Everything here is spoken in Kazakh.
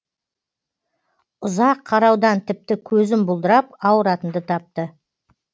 ұзақ қараудан тіпті көзім бұлдырап ауыратынды тапты